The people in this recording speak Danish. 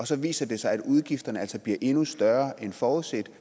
så viser sig at udgifterne bliver endnu større end forudset